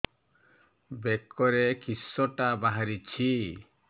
ବେକରେ କିଶଟା ବାହାରିଛି